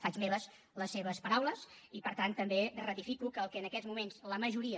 faig meves les seves paraules i per tant també ratifico que el que en aquests moments la majoria